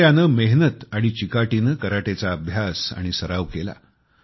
हनायाने मेहनत आणि चिकाटीने कराटेचा अभ्यास आणि सराव केला